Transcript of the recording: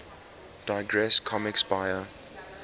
digress comics buyer